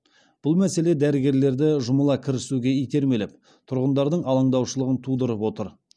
бұл мәселе дәрігерлерді жұмыла кірісуге итермелеп тұрғындардың алаңдаушылығын тудырып отыр